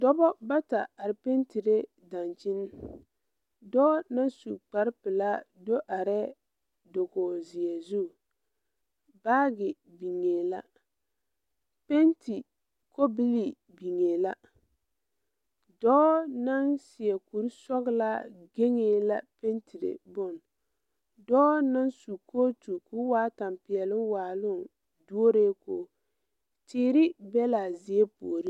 Dɔbɔ bata are pentire daŋkyini dɔɔ naŋ su kparepelaa do arɛɛ dokoge zeɛ zu baagi biŋee la penti kobilii biŋee la dɔɔ naŋ seɛ kurisɔglaa gaŋee la pentire bon dɔɔ naŋ su kootu ko waa ŋa tampɛloŋ waaloŋ duoree koge teere be laa zie puoriŋ.